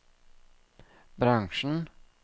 bransjen